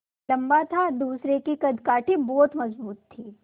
लम्बा था दूसरे की कदकाठी बहुत मज़बूत थी